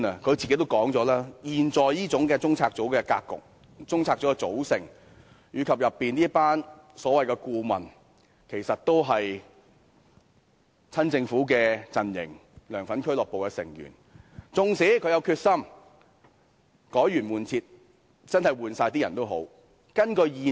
鑒於中策組現時這種格局和組合，而當中這一群所謂顧問其實都是親政府陣營或"梁粉俱樂部"的成員，縱使她真有決心改弦易轍，要換掉所有人，也絕非易事。